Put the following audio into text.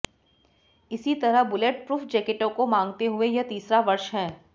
इसी तरह bullet proof जैकेटों को मांगते हुए यह तीसरा वर्ष है